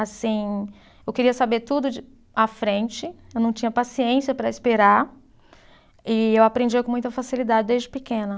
Assim, eu queria saber tudo de à frente, eu não tinha paciência para esperar e eu aprendia com muita facilidade desde pequena.